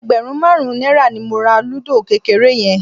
Ẹgbẹ̀rún márùn-ún náírà ni mo ra lúdò kékeré yẹn